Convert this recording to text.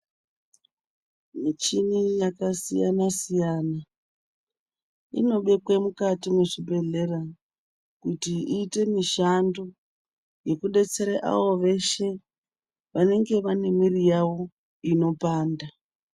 Muchini yakasiyana siyana inobekwa mukati mwezvibhendlera kuti iite mushando hwekubetsera avo veshe vanenge vane mwiri yavo inopanda.